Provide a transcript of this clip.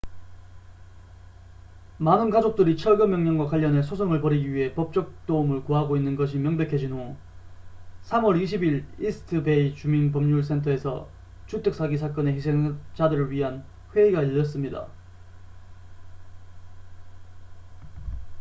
많은 가족들이 철거 명령과 관련해 소송을 벌이기 위해 법적 도움을 구하고 있는 것이 명백해진 후 3월 20일 이스트 베이 주민 법률 센터에서 주택 사기 사건의 희생자들을 위한 회의가 열렸습니다